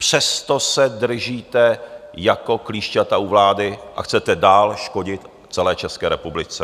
Přesto se držíte jako klíšťata u vlády a chcete dál škodit celé České republice.